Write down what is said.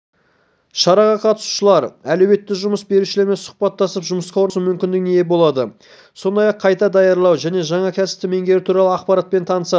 шараға қатысушылар әлеуетті жұмыс берушілермен сұхбаттасып жұмысқа орналасу мүмкіндігіне ие болады сондай-ақ қайта даярлау мен жаңа кәсіпті меңгеру туралы ақпаратпен танысады